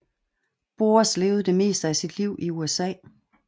Boas levede det meste af sit liv i USA